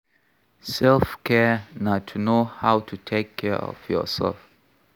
Selfcare na to know how to take care for yourself